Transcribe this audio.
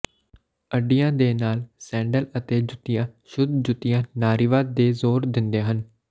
ਅੱਡੀਆਂ ਦੇ ਨਾਲ ਸੈਂਡਲ ਅਤੇ ਜੁੱਤੀਆਂ ਸ਼ੁੱਧ ਜੁੱਤੀਆਂ ਨਾਰੀਵਾਦ ਤੇ ਜ਼ੋਰ ਦਿੰਦੇ ਹਨ